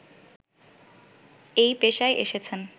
এই পেশায় এসেছেন